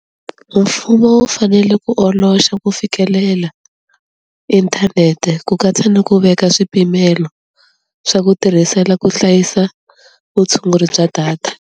Mfumo wu fanele ku oloxa ku fikelela inthanete ku katsa ni ku veka swipimelo swa ku tirhisela ku hlayisa vutshunguri bya data.